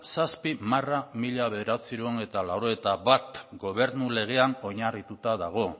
zazpi barra mila bederatziehun eta laurogeita bat gobernu legean oinarrituta dago